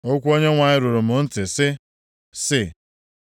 Okwu Onyenwe anyị ruru m ntị, sị, sị,